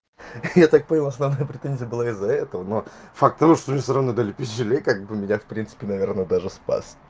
я так понял основная претензия была из-за этого но факт того что ему всё равно дали пилюлей как бы меня в принципе наверное даже спас